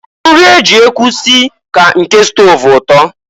Nri e ji ekwu si ka nke stọv ụtọ.